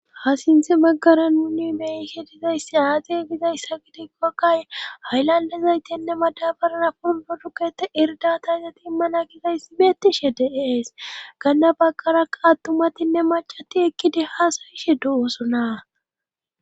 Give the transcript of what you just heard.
ha sinthi maggara nuni mehishe dizayssi aade gizayssa gidikkokkay haylandezaytinne madabarana purdo dukete irdatayzati immana gizayssi beettishe de is ganda baqaraa attumatinne macati ekkide haasoyishe du7usonaa